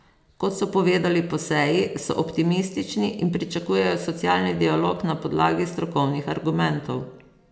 Kot so povedali po seji, so optimistični in pričakujejo socialni dialog na podlagi strokovnih argumentov.